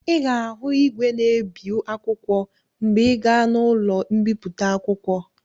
Ị ga-ahụ igwe na-ebi akwụkwọ mgbe ị gaa n'ụlọ mbipụta akwụkwọ.